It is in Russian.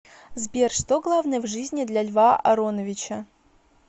сбер что главное в жизни для льва ароновича